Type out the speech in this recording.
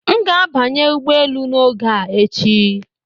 M ga-abanye ụgbọ elu n'oge a echi